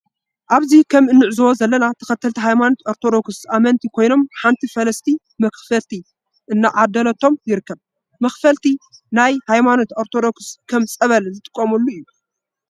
አብዚ ከም እንዕዞቦ ዘለና ተከተልቲ ሃይማኖት አርቶዶክስ አመነቲ ኮይኖም ሓንቲ ፈላሲቲ መክፈልቲ እናዓደለቶም ይርከብ። መክፈለቲ ናየ ሃይማኖት አርቶዶክስ ከም ፀበል ዝጥቀሙሉ እዩ።